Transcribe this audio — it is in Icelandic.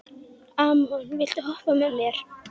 Og fyrirlíti sjálfan sig afþvíað hann getur engu breytt.